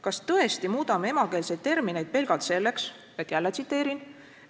Kas tõesti muudame emakeelseid termineid pelgalt selleks, et – jälle tsiteerin –"...